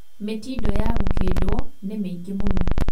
Mĩtindo ya gũkĩndwo nĩ mĩingĩ mũno